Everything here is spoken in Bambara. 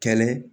Kɛlɛ